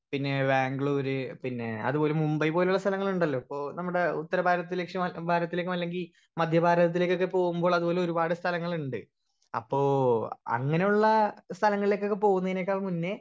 speaker 1 പിന്നെ വാഗ്ലൂർ പിന്നെ അതുപോലെ മുംബൈ പോലുള്ള സ്ഥലങ്ങളിണ്ടലോ പോ നമ്മടെ ഉത്തര ഭാരത്തിൽ ലക്ഷ്യ ഭാരത്തിലേക്കും അല്ലെങ്കി മധ്യ ഭാരതത്തിലേക്കൊക്കെ പോവുമ്പോൾ അതുപോലെ ഒരുപാട് സ്ഥലങ്ങളിണ്ട് അപ്പൊ അങ്ങനുള്ള സ്ഥലങ്ങളിലേക്കൊക്കെ പോവുന്നെനേക്കാൾ മുന്നേ